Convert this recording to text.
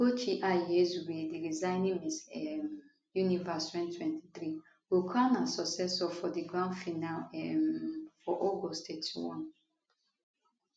ugochi i hezue di reigning miss um universe 2023 go crown her successor for di grand finale um for august 31